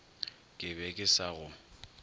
ke be ke sa go